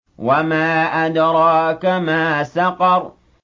وَمَا أَدْرَاكَ مَا سَقَرُ